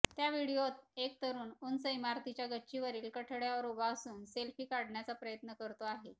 त्या व्हिडीओत एक तरुण उंच इमारतीच्या गच्चीवरील कठडय़ावर उभा असून सेल्फी काढण्याचा प्रयत्न करतो आहे